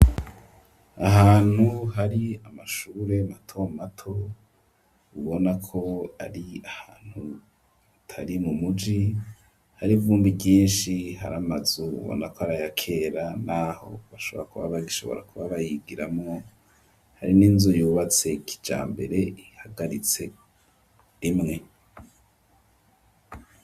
Ahantu hari amashure mato mato ubona ko ari ahantu atari mu muji hari vumbi ryinshi hari amazu ubona ko arayakera n'aho bashobra kuba ba gishobora kuba bayigiramo hari n'inzu yubatse kija mbere ihagaritse rimwe.